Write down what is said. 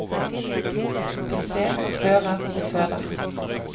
Vi ser, hører og føler.